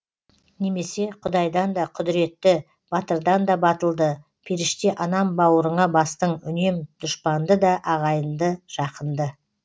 немесе құдайдан да құдіретті батырдан да батылды періште анам бауырыңа бастың үнем дұшпанды да ағайынды жақынды